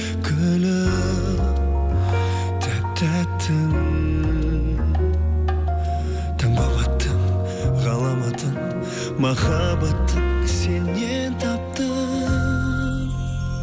гүлім тәп тәттім таң болып аттың ғаламатым махаббатым сеннен таптым